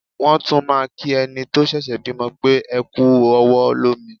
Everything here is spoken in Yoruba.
Wọ́n tún máà ń kí ẹni tó ṣẹ̀ṣẹ̀ bímọ pé "ẹ kú ọwọ́ lómi".